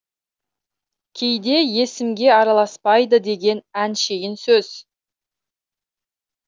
кейде есімге араласпайды деген әншейін сөз